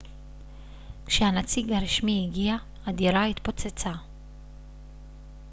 כשהנציג הרשמי הגיע הדירה התפוצצה